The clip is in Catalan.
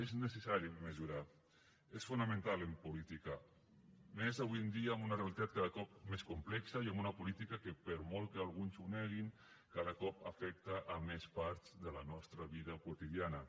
és necessari mesurar és fonamental en política més avui en dia amb una realitat cada cop més complexa i amb una política que per molt que alguns ho neguin cada cop afecta més parts de la nostra vida quotidiana